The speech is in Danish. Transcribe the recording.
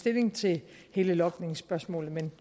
stilling til hele logningsspørgsmålet